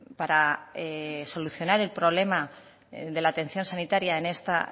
para solucionar el problema de la atención sanitaria en esta